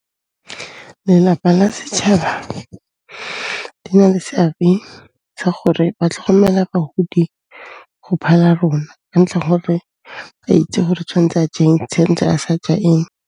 Lelapa la setšhaba di na le seabe sa gore ba tlhokomela bagodi go phala rona ka ntlha gore a itse gore tshwantse a j'eng, tshwantse a sa ja eng.